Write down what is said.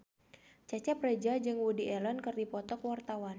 Cecep Reza jeung Woody Allen keur dipoto ku wartawan